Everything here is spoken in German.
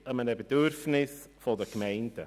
Er entspricht einem Bedürfnis der Gemeinden.